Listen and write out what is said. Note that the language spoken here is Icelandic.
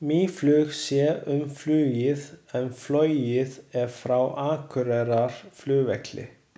Mýflug sér um flugið en flogið er frá Akureyrarflugvelli.